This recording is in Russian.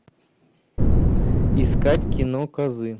искать кино козы